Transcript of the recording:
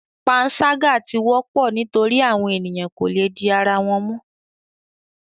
Panṣaga ti wọpọ nitori awọn eniyan ko le di ara wọn mu